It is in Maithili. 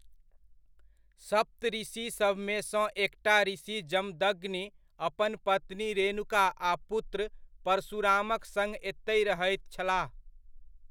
सप्तऋषिसभमे सँ एकटा ऋषि जमदग्नि अपन पत्नी रेणुका आ पुत्र परशुरामक सङ्ग एतहि रहैत छलाह।